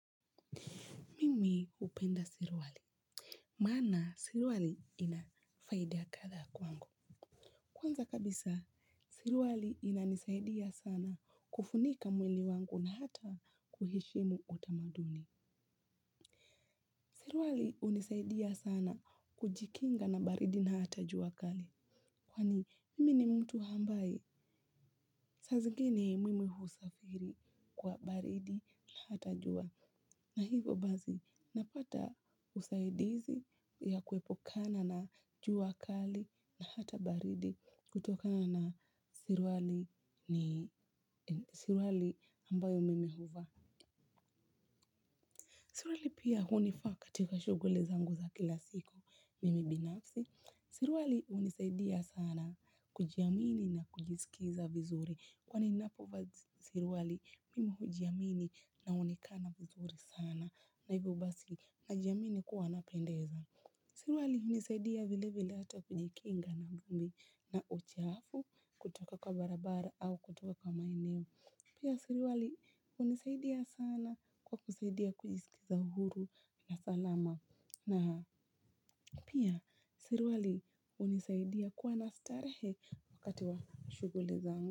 Mimi hupenda suruwali. Maana suruwali kadhaa kwangu. Kwanza kabisa, suruwali inanisaidia sana kufunika mwili wangu na hata kuheshimu utamaduni. Suruwali hunisaidia sana kujikinga na baridi na hata jua kali. Kwani mimi ni mtu ambaye. Saa zingine mimi husafiri kwa baridi na hata jua. Na hivo basi napata usaidizi ya kuepukana na jua kali na hata baridi kutokana na suruwali ambayo mimi huvaa. Suruwali pia hunifaa katika shughuli zangu za kila siku mimi binafsi. Suruwali hunisaidia sana kujiamini na kujisikiza vizuri. Kwani ninapovaa suruwali mimi hujiamini naonekana vizuri sana. Na hivyo basi najiamini kuwa napendeza. Suruwali hunisaidia vile vile hata kujikinga na vumbi na uchafu kutoka kwa barabara au kutoka kwa maeneo. Pia suruwali hunisaidia sana kwa kusaidia kujisikiza uhuru na salama na pia suruwali hunisaidia kuwa na starehe wakati wa shughuli zangu.